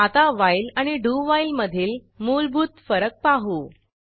आता व्हाईल आणि do while मधील मूलभूत फरक पाहू